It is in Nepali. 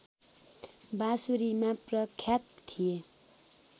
बाँसुरीमा प्रख्यात थिए